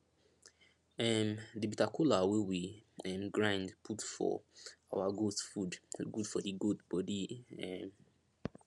um the bitter cola wey we um grind put for our goat food good for the goat body um